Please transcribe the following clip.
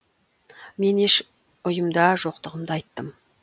мен еш ұйымда жоқтығымды айттым